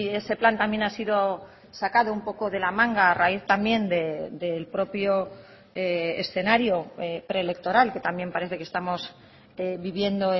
ese plan también ha sido sacado un poco de la manga a raíz también del propio escenario preelectoral que también parece que estamos viviendo